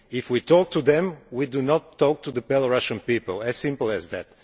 If we talk to them we do not talk to the Belarusian people it is as simple as that.